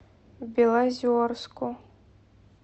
белозерску